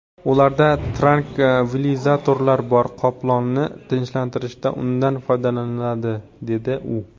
Ularda trankvilizatorlar bor, qoplonni tinchlantirishda undan foydalaniladi”, dedi u.